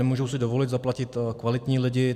Nemůžou si dovolit zaplatit kvalitní lidi.